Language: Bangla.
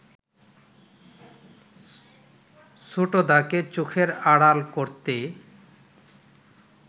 ছোটদাকে চোখের আড়াল করতে